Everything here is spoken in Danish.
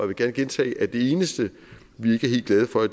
vil gerne gentage at det eneste vi ikke er helt glade for